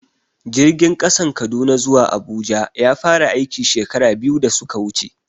Jirgin ƙasan Kaduna zuwa Abuja ya fara aiki, shekara biyu da suka wuce.